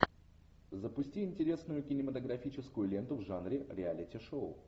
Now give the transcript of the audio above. запусти интересную кинематографическую ленту в жанре реалити шоу